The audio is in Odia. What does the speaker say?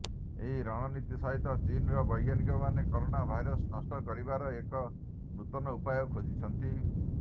ଏହି ରଣନୀତି ସହିତ ଚୀନର ବୈଜ୍ଞାନିକମାନେ କରୋନା ଭାଇରସ୍ ନଷ୍ଟ କରିବାର ଏକ ନୂତନ ଉପାୟ ଖୋଜିଛନ୍ତି